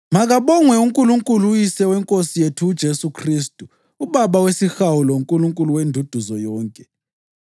Makabongwe uNkulunkulu uYise weNkosi yethu uJesu Khristu, uBaba wesihawu loNkulunkulu wenduduzo yonke,